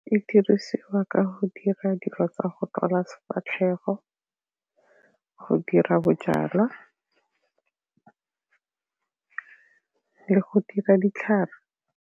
E dirisiwa ka go dira dilo tsa go tlola sefatlhego, go dira bojalwa, le go dira ditlhare.